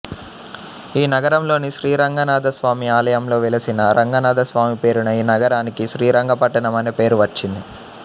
ఈ నగరంలోని శ్రీరంగనాధ స్వామి ఆలయంలో వెలసిన రంగనాధస్వామి పేరున ఈ నగరానికి శ్రీరంగపట్టణం అనే పేరు వచ్చింది